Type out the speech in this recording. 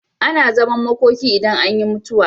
Ana zaman makoki idan an yi mutuwa.